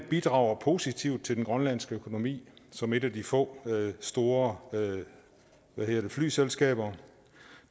bidrager positivt til den grønlandske økonomi som et af de få store flyselskaber